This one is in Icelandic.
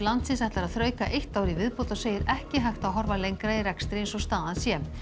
landsins ætlar að þrauka eitt ár í viðbót og segir ekki hægt að horfa lengra í rekstri eins og staðan sé